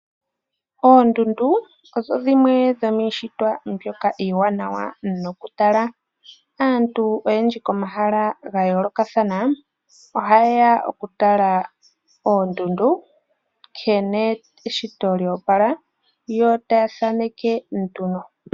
Oondundu odho dhimwe dho miishitwa mbyoka iiwanawa nokutala. Aantu oyendji komahala gayoolokathan ohayeya okutala nkene eshito yloopala yo taya thaneke nduno.